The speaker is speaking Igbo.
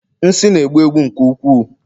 nsị na-egbu egbu nke ukwuu